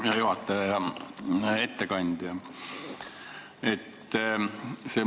Hea juhataja ja ettekandja!